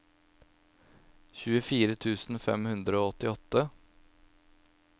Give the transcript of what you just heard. tjuefire tusen fem hundre og åttiåtte